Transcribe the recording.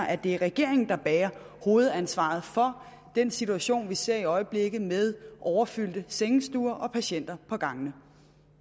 at det er regeringen der bærer hovedansvaret for den situation vi ser i øjeblikket med overfyldte sengestuer og patienter på gangene